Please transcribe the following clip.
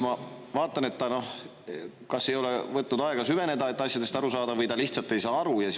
Ma, kas ta ei ole võtnud aega süveneda, et asjadest aru saada, või ta lihtsalt ei saa aru.